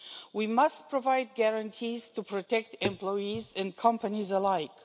We must provide guarantees to protect employees and companies alike.